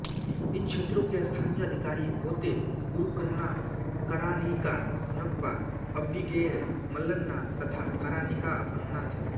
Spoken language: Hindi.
इन क्षेत्रों के स्थानीय अधिकारी होत्ते गुरुकन्ना कारानिका भुनप्पा अब्बिगेर मल्लन्ना तथा कारानिका अप्पन्ना थे